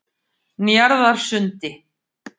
Njarðarsundi